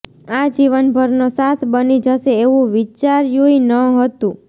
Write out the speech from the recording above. આ જીવનભરનો સાથ બની જશે એવું વિચાર્યુંય ન હતું